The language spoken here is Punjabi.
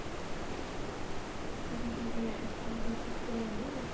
ਤੁਸੀਂ ਸੂਟ ਲੈ ਮਤਲਬ stitch ਕਰਵਾਉਣੇ ਆ